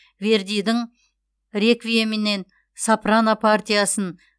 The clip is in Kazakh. вердидің реквиемінен сопрано партиясын